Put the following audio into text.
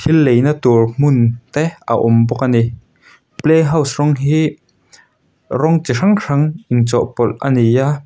thil leina tur hmun te a awm bawk ani playhouse rawng hi rawng chi hrang hrang inchawhpawlh a ni a.